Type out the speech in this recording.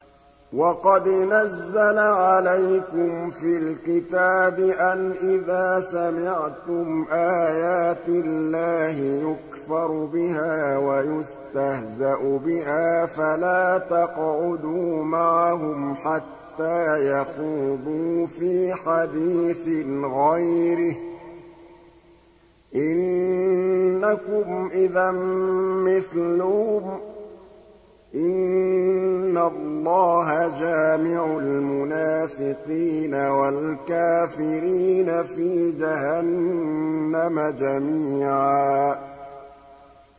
وَقَدْ نَزَّلَ عَلَيْكُمْ فِي الْكِتَابِ أَنْ إِذَا سَمِعْتُمْ آيَاتِ اللَّهِ يُكْفَرُ بِهَا وَيُسْتَهْزَأُ بِهَا فَلَا تَقْعُدُوا مَعَهُمْ حَتَّىٰ يَخُوضُوا فِي حَدِيثٍ غَيْرِهِ ۚ إِنَّكُمْ إِذًا مِّثْلُهُمْ ۗ إِنَّ اللَّهَ جَامِعُ الْمُنَافِقِينَ وَالْكَافِرِينَ فِي جَهَنَّمَ جَمِيعًا